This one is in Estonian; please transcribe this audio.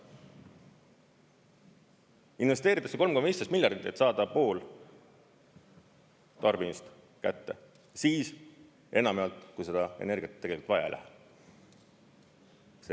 Investeeritakse 3,15 miljardit, et saada pool tarbimist kätte siis enamjaolt, kui seda energiat tegelikult vaja ei lähe.